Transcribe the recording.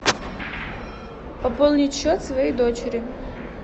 пополнить счет своей дочери